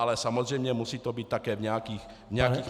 Ale samozřejmě musí to být také v nějakých mezích.